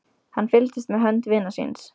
Hann fylgdist með hönd vinar síns.